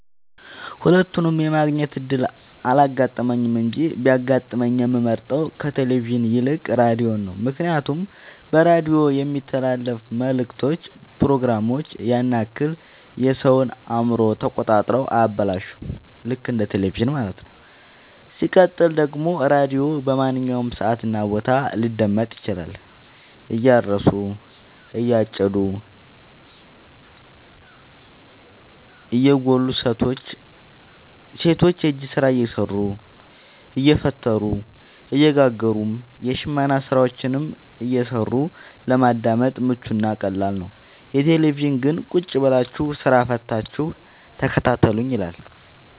ሁለቱንም የማግኘት እድል አላጋጠመኝም እንጂ ቢያጋጥመኝ የምመርጠው ከቴሌቪዥን ይልቅ ራዲዮን ነው ምክንያቱም በራዲዮ የሚተላለፍት መልክቶች ፕሮግራሞች ያን ያክል የሰወን አእምሮ ተቆጣጥረው አያበላሹም ልክ እንደ በቴለቪዥን ማለት ነው። ሲቀጥል ደግሞ ራዲዮ በማንኛውም ሰዓት እና ቦታ ሊደመጥ ይችላል። እያረሱ የጨዱ እየጎሉ ሰቶች የእጅ ስራ እየሰሩ አየፈተሉ እየጋገሩም የሽመና ስራዎችን እየሰሩ ለማዳመጥ ምቹ እና ቀላል ነው። የቴሌቪዥን ግን ቁጭብላችሁ ስራ ፈታችሁ ተከታተሉኝ ይላል።